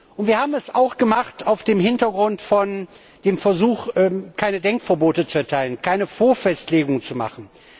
Und wir haben es auch gemacht vor dem Hintergrund des Versuchs, keine Denkverbote zu erteilen, keine Vorfestlegung zu machen.